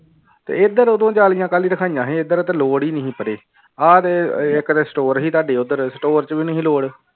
ਤੇ ਇੱਧਰ ਉਦੋਂ ਜਾਲੀਆਂ ਕੱਲ੍ਹ ਰਖਵਾਈਆਂ ਸੀ ਇੱਧਰ ਤੇ ਲੋੜ ਹੀ ਨੀ ਸੀ ਪਰੇ ਆਹ ਦੇ ਇੱਕ ਤੇ store ਸੀ ਤੁਹਾਡੀ ਉੱਧਰ store ਚ ਵੀ ਨੀ ਸੀ ਲੋੜ